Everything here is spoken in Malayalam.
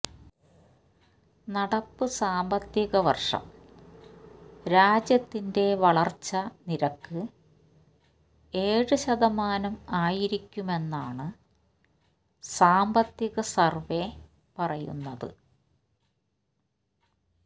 നടപ്പ് സാമ്പത്തിക വര്ഷം രാജ്യത്തിന്റെ വളര്ച്ച നിരക്ക് ഏഴ് ശതമാനം ആയിരിക്കുമെന്നാണ് സാമ്പത്തിക സർവ്വേ പറയുന്നത്